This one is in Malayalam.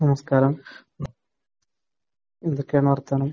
നമസ്കാരം. എന്തൊക്കെയാണ് വർത്തമാനം?